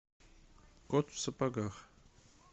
кот в сапогах